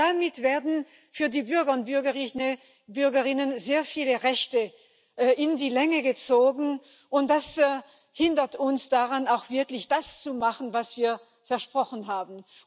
Denn damit werden für die Bürger und Bürgerinnen sehr viele Rechte auf die lange Bank geschoben. Das hindert uns daran, auch wirklich das zu machen, was wir versprochen haben.